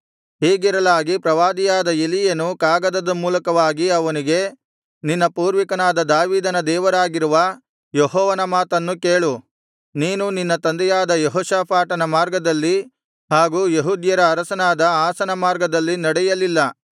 ಹೀಗಿರಲಾಗಿ ಪ್ರವಾದಿಯಾದ ಎಲೀಯನು ಕಾಗದದ ಮೂಲಕವಾಗಿ ಅವನಿಗೆ ನಿನ್ನ ಪೂರ್ವಿಕನಾದ ದಾವೀದನ ದೇವರಾಗಿರುವ ಯೆಹೋವನ ಮಾತನ್ನು ಕೇಳು ನೀನು ನಿನ್ನ ತಂದೆಯಾದ ಯೆಹೋಷಾಫಾಟನ ಮಾರ್ಗದಲ್ಲಿ ಹಾಗು ಯೆಹೂದ್ಯರ ಅರಸನಾದ ಆಸನ ಮಾರ್ಗದಲ್ಲಿ ನಡೆಯಲಿಲ್ಲ